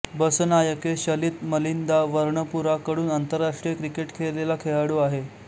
बसनायके शलित मलिंदा वर्णपुरा कडून आंतरराष्ट्रीय क्रिकेट खेळलेला खेळाडू आहे